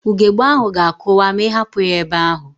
Ugbegbe ahụ ga-akụwa ma ịhapụ ya ebe ahụ